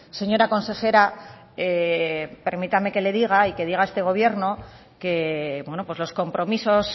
señora consejera permítame que le diga y que diga a este gobierno que los compromisos